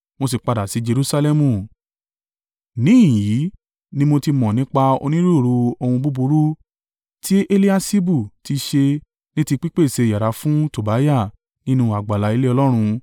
Mo sì padà sí Jerusalẹmu. Níhìn-ín ni mo ti mọ̀ nípa onírúurú ohun búburú tí Eliaṣibu ti ṣe ní ti pípèsè yàrá fún Tobiah nínú àgbàlá ilé Ọlọ́run.